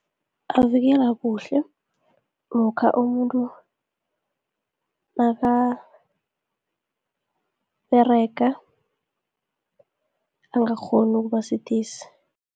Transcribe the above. Avikela kuhle, lokha umuntu nakaberega, angakghoni ukuba sidisi.